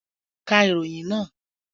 Ka ìròyìn naa!